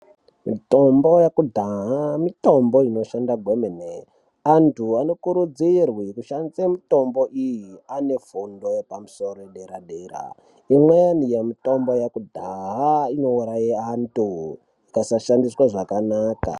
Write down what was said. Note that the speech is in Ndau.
Mitombo yekudhaya mitombo inoshanda kwemene. Antu anokurudzirwe kushandisa mitombo iyi ane fundo yepadera dera. Imweni yemitombo yekudhaya inouraye antu ikasashandiswa zvakanaka